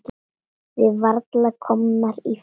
Við varla komnar í fötin.